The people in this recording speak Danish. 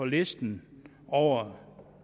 listen over